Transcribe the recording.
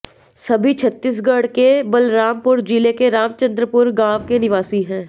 सभी छत्तीसगढ़ के बलरामपुर जिले के रामचंद्रपुर गांव के निवासी हैं